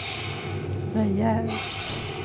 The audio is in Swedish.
rejält